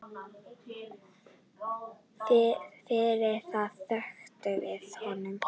Fyrir það þökkum við honum.